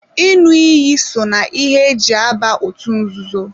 ịṅụ iyi so na ihe e ji aba otú nzuzo.